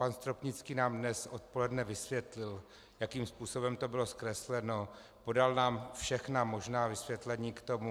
Pan Stropnický nám dnes odpoledne vysvětlil, jakým způsobem to bylo zkresleno, podal nám všechna možná vysvětlení k tomu.